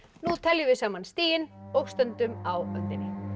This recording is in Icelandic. nú teljum við saman stigin og stöndum á öndinni